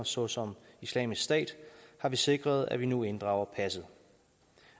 såsom islamisk stat har vi sikret at man nu inddrager passet